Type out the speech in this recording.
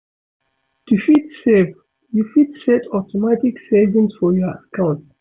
To fit save well, you fit set up automatic savings for your account